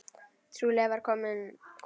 Trúlega var kominn kúnni.